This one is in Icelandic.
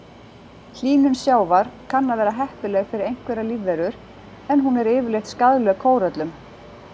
Hlýnun sjávar kann að vera heppileg fyrir einhverjar lífverur en hún er yfirleitt skaðleg kóröllum.